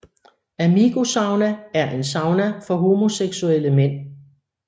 Amigo Sauna er en sauna for homoseksuelle mænd